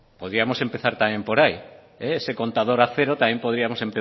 podíamos empezar también por ahí ese contador a cero también podíamos